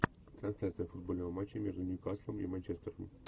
трансляция футбольного матча между ньюкаслом и манчестером